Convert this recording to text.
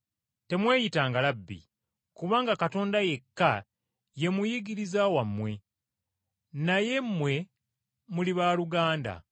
“Temweyitanga ‘Labbi ,’ kubanga Katonda yekka ye Muyigiriza wammwe, naye mmwe muli baaluganda.